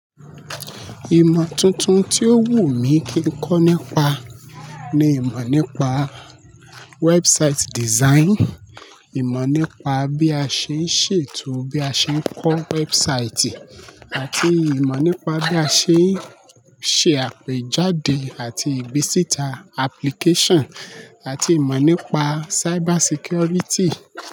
Ìmọ tuntun tí ó wù mí kí ń kọ́ nípa ni ìmọ̀ nípa website design, ìmọ̀ nípa bí a ṣe ń ṣètò bí a ṣe ń kọ́ website àti ìmọ̀ nípa bí a ṣe ń ṣe àpèjádè àti ìgbesítà application àti ìmọ̀ nípa cyber security.